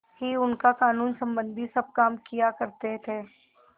ही उनका कानूनसम्बन्धी सब काम किया करते थे